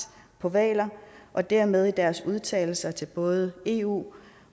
på hvaler og dermed i deres udtalelser til både eu